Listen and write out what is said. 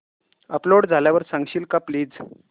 upload झाल्यावर सांगशील का प्लीज